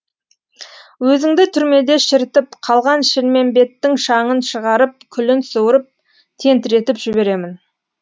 өзіңді түрмеде шірітіп қалған шілмембеттің шаңын шығарып күлін суырып тентіретіп жіберемін